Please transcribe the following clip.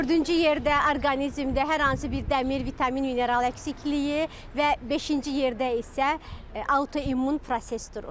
Dördüncü yerdə orqanizmdə hər hansı bir dəmir, vitamin, mineral əksikliyi və beşinci yerdə isə autoimmun proses durur.